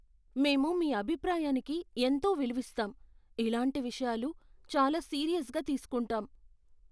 మేము మీ అభిప్రాయానికి ఎంతో విలువిస్తాం, ఇలాంటి విషయాలు చాలా సీరియస్గా తీసుకుంటాం.